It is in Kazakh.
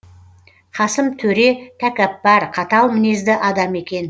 қасым төре тәкаппар қатал мінезді адам екен